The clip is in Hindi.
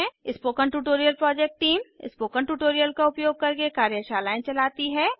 spoken tutorial project team spoken tutorial का उपयोग करके कार्यशालाएँ चलाती है